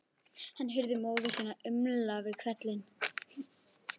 Hann heyrði móður sína umla við hvellinn.